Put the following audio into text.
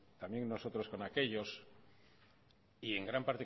también nosotros con aquellos y en gran